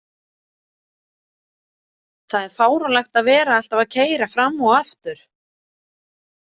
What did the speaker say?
Það er fáránlegt að vera alltaf að keyra fram og aftur.